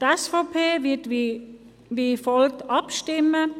Die SVP wird wie folgt abstimmen: